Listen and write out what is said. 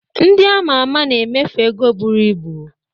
Ndị a ma ama na-emefu ego buru ibu.